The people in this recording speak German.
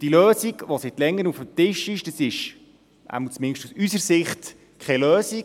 Die Lösung, die seit Längerem auf dem Tisch ist, ist – zumindest aus unserer Sicht – keine Lösung.